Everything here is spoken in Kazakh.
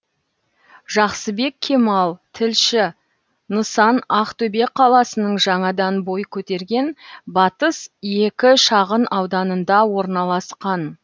жақсыбек кемал тілші нысан ақтөбе қаласының жаңадан бой көтерген батыс екі шағын ауданында орналасқан